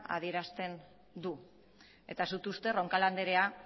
adierazten du eta uste dut roncal andrea